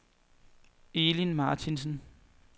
Elin Martinsen